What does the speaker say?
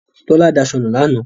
Tọ́lá daṣọ nu lánàá.